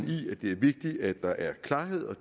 i at det er vigtigt at der er klarhed og